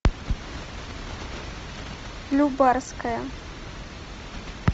нубарская